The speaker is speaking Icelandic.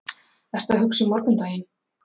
Ertu að hugsa um morgundaginn?